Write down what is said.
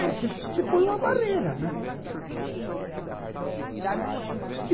Aí você põe uma barreira, né?